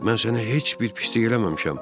Mən sənə heç bir pislik eləməmişəm.